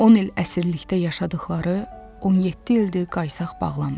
10 il əsirlikdə yaşadıqları 17 ildir qaysaq bağlamır.